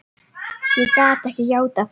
Ég gat ekki játað því.